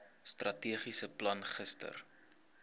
strategiese plan gister